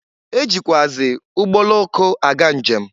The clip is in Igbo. E jikwuazị ụgbọoloko aga nje m.